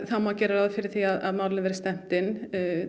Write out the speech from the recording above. þá má gera ráð fyrir því að málinu verði stefnt inn